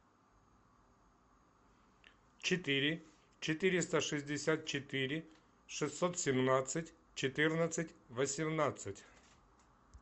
четыре четыреста шестьдесят четыре шестьсот семнадцать четырнадцать восемнадцать